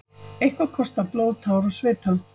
Eitthvað kostar blóð, tár og svita